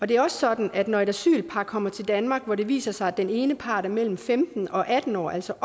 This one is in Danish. det er også sådan at når et asylpar kommer til danmark hvor det viser sig at den ene part er mellem femten og atten år altså